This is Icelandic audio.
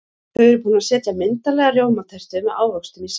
Þau eru búin að setja myndarlega rjómatertu með ávöxtum í safnið.